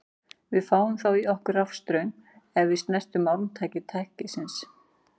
Við fáum þá í okkur rafstraum ef við snertum málmhylki tækisins.